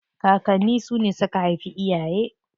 Kakanni su ne suka haifi iyaye.